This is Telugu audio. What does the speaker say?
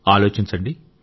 ఆలోచించండి